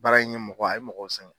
Baara in ye mɔgɔ a ye mɔgɔw sɛgɛn